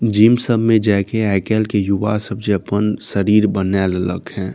gym सब में जाए के आजकल के युवा सब जे अपन शरीर बनाइल ले लक हे |